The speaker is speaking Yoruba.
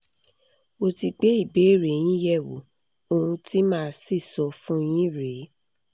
mo ti gbé ìbéèrè yín yẹ̀ wò ohun tí màá sì sọ fún yín rèé